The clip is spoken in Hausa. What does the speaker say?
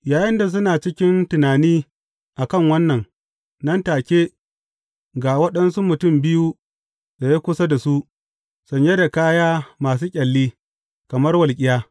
Yayinda suna cikin tunani a kan wannan, nan take, ga waɗansu mutum biyu tsaye kusa da su, sanye da kaya masu ƙyalli, kamar walƙiya.